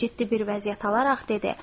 Və ciddi bir vəziyyət alaraq dedi: